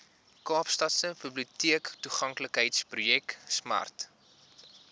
kaapstadse biblioteektoeganklikheidsprojek smart